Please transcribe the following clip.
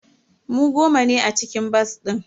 Mu goma ne a cikin bas din.